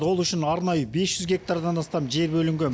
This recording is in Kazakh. ол үшін арнайы бес жүз гектардан астам жер бөлінген